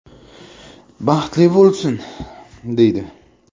“Baxtli bo‘lsin”, deydi.